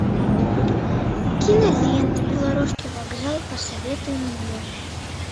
кинолента белорусский вокзал посоветуй мне